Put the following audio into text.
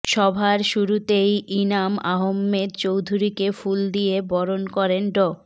সভার শুরুতেই ইনাম আহমেদ চৌধুরীকে ফুল দিয়ে বরণ করেন ড